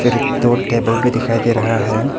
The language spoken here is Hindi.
एक दो टेबल भी दिखाई दे रहा है।